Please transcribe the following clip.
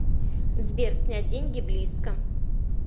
сбер снять деньги близко